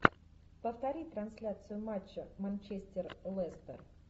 повтори трансляцию матча манчестер лестер